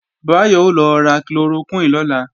Báyọ̀ ó lọ ra chloroquine lọ́la